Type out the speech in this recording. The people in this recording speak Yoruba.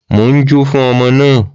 Mò ń jó fún ọmọ náà.